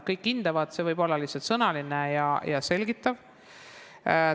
Kõik hindavad, see võib olla lihtsalt sõnaline ja selgitav hindamine.